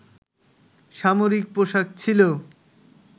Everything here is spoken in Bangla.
সামরিক পোশাক ছিল